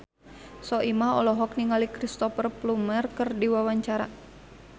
Soimah olohok ningali Cristhoper Plumer keur diwawancara